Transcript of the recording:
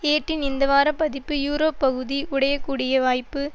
ஏட்டின் இந்த வார பதிப்பு யூரோப் பகுதி உடையக்கூடிய வாய்ப்பு